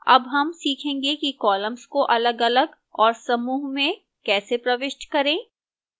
अब हम सीखेंगे कि columns को अलगअलग और समूह में कैसे प्रविष्ट करें